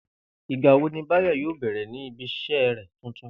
Ìgbà wo ni Báyò̩ yóò bè̩rè̩ ní ibi is̩é̩ rè̩ tuntun?